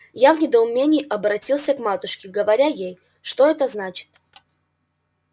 я в недоумении оборотился к матушке говоря ей что это значит